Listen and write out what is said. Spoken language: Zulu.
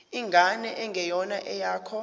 ingane engeyona eyakho